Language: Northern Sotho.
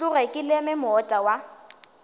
tloge ke leme moota wa